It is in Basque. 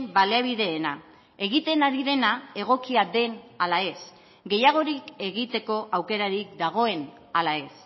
baliabideena egiten ari dena egokia den ala ez gehiagorik egiteko aukerarik dagoen ala ez